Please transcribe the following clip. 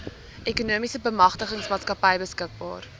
ekonomiese bemagtigingsmaatskappy beskikbaar